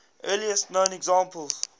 earliest known examples